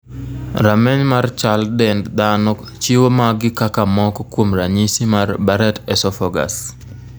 Rameny mar chal dend dhano chiwo magi kaka moko kuom ranyisi mar Barrett esophagus.